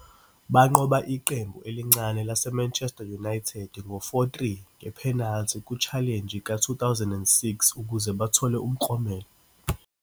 Banqoba iqembu elincane laseManchester United ngo-4-3 nge-penalty ku-Challenge ka-2006 ukuze bathole umklomelo.